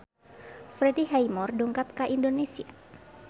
Freddie Highmore dongkap ka Indonesia